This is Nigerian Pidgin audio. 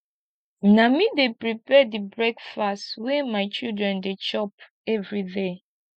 na me dey prepare di breakfast wey my children dey chop everyday